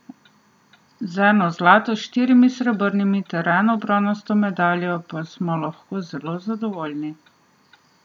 Z eno zlato, štirimi srebrnimi ter eno bronasto medaljo pa smo lahko zelo zadovoljni.